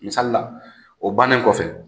Misali la, o bannen kɔfɛ